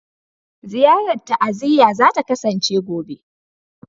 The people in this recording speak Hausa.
Ziyarar ta'aziyya za ta kasance gobe.